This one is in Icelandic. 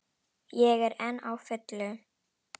Ég er enn á fullu.